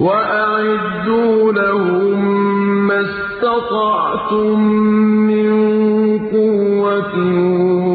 وَأَعِدُّوا لَهُم مَّا اسْتَطَعْتُم مِّن قُوَّةٍ